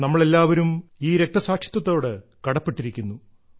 നമ്മൾ എല്ലാവരും ഈ രക്തസാക്ഷിത്വത്തോട് കടപ്പെട്ടിരിക്കുന്നു